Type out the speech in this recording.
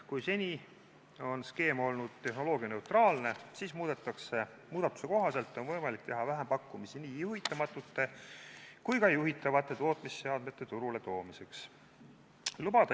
Kui seni on skeem olnud tehnoloogianeutraalne, siis muudatuse kohaselt on võimalik teha vähempakkumisi nii juhitamatute kui ka juhitavate tootmisseadmete turule toomiseks.